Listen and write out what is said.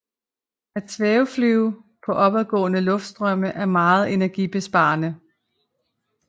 At svæveflyve på opadgående luftstrømme er meget energibesparende